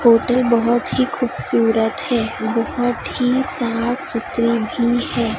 Hotel बहोत ही खूबसूरत है बहोत ही साफ सुथरी भी हैं।